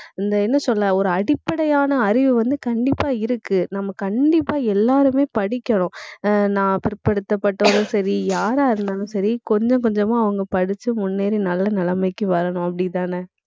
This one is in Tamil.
இந்த என்ன சொல்ல ஒரு அடிப்படையான அறிவு வந்து கண்டிப்பா இருக்கு. நம்ம கண்டிப்பா எல்லாருமே படிக்கிறோம் அஹ் நான் பிற்படுத்தப்பட்டவங்களும் சரி, யாரா இருந்தாலும் சரி கொஞ்சம் கொஞ்சமா அவங்க படிச்சு முன்னேறி நல்ல நிலைமைக்கு வரணும் அப்படித்தானே